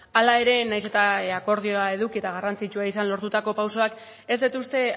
hala ere nahiz eta akordioa eduki eta garrantzitsua izan lortutako pausoak ez dut uste